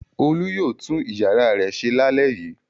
Olú yóò tún ìyàrá rẹ̀ ṣe lálẹ́ yìí.